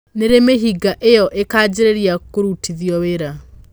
Nĩrĩ mĩhĩnga ĩo ikanjĩrĩria kũrutithĩo wĩra?